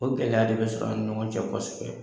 O gɛlɛya de bɛ sɔrɔ an ni ɲɔgɔn cɛ kɔ kosɛbɛ